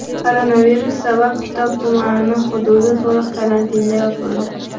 Koronavirus sabab Kitob tumani hududi to‘liq karantinga yopildi.